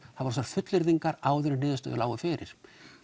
var þessar fullyrðingar áður en niðurstöður lágu fyrir